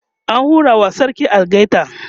ana hura wa sarki algaita